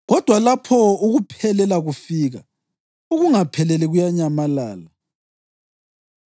kodwa lapho ukuphelela kufika, ukungapheleli kuyanyamalala.